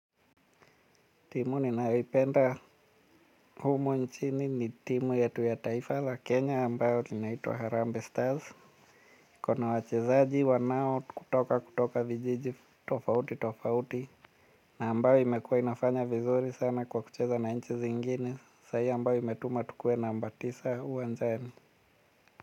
Timu ninalipenda humu nchini ni timu yatu ya taifa la Kenya ambayo ni naitwa Harambe Stars. Ikona wachezaji wanao kutoka kutoka vijiji tofauti tofauti. Na ambayo imekuwa inafanya vizuri sana kwa kucheza na nchi zingine. Sahii ambayo imetuma tukuwe namba tisa uwanjani.